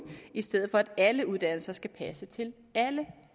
i stedet for at alle uddannelser skal passe til alle